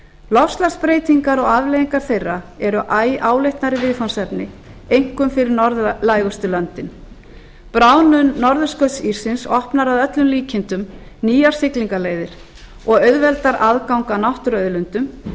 loftslagsbreytingar og afleiðingar þeirra eru æ áleitnari viðfangsefni einkum fyrir norðlægustu löndin bráðnun norðurskautsíssins opnar að öllum líkindum nýjar siglingaleiðir og auðveldar aðgang að náttúruauðlindum